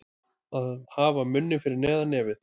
Að hafa munninn fyrir neðan nefið